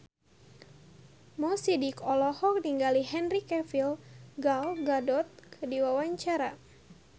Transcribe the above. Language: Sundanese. Mo Sidik olohok ningali Henry Cavill Gal Gadot keur diwawancara